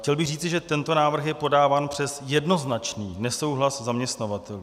Chtěl bych říci, že tento návrh je podáván přes jednoznačný nesouhlas zaměstnavatelů.